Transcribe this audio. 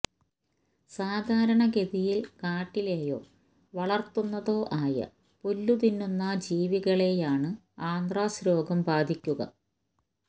സാധാരണ ഗതിയില് കാട്ടിലേയോ വളര്ത്തുന്നതോ ആയപുല്ലുതിന്നുന്ന ജീവികളെയാണു ആന്ത്രാക്സ് വേഗം ബാധിക്കുക